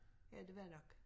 Jeg det ved jeg nok